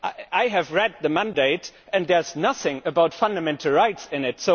I have read the mandate, and there is nothing about fundamental rights in it.